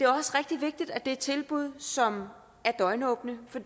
også rigtig vigtigt at det er tilbud som er døgnåbne for